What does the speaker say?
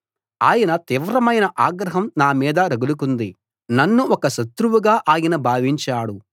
ఆయన తీవ్రమైన ఆగ్రహం నా మీద రగులుకుంది నన్ను ఒక శత్రువుగా ఆయన భావించాడు